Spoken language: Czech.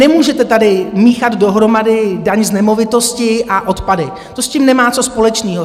Nemůžete tady míchat dohromady daň z nemovitosti a odpady, to s tím nemá co společného.